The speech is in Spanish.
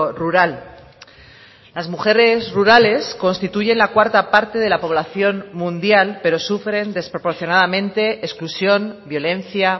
rural las mujeres rurales constituyen la cuarta parte de la población mundial pero sufren desproporcionadamente exclusión violencia